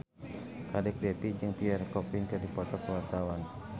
Kadek Devi jeung Pierre Coffin keur dipoto ku wartawan